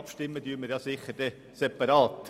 Abstimmen werden wir ja dann sicher separat.